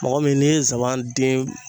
Mɔgɔ min n'i ye zaban den